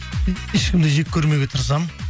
ешкімді жек көрмеуге тырысамын